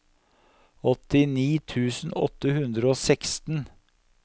åttini tusen åtte hundre og seksten